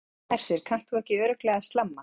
Hersir, kannt þú ekki örugglega að slamma?